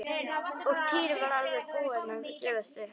Og Týri var alveg búinn að gefast upp.